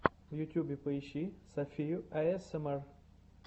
в ютьюбе поищи софию аэсэмар